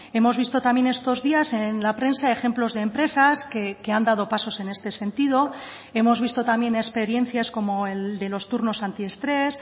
hemos visto también estos días en la prensa ejemplos de empresas que han dado pasos en este sentido hemos visto también experiencias como el de los turnos anti estrés